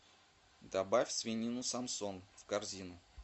добавь свинину самсон в корзину